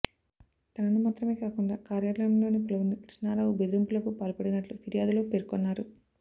తనను మాత్రమే కాకుండా కార్యాలయంలోని పలువురిని కృష్ణారావు బెదిరింపులకు పాల్పడినట్లు ఫిర్యాదులో పేర్కొన్నారు